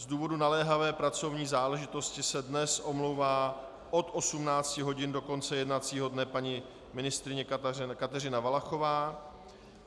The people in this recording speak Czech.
Z důvodu naléhavé pracovní záležitosti se dnes omlouvá od 18 hodin do konce jednacího dne paní ministryně Kateřina Valachová.